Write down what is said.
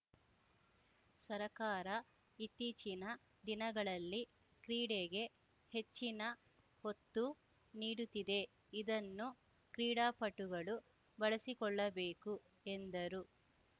ಸರಕಾರ ಇತ್ತೀಚಿನ ದಿನಗಳಲ್ಲಿ ಕ್ರೀಡೆಗೆ ಹೆಚ್ಚಿನ ಒತ್ತು ನೀಡುತ್ತಿದೆ ಇದನ್ನು ಕ್ರೀಡಾಪಟುಗಳು ಬಳಸಿಕೊಳ್ಳಬೇಕು ಎಂದರು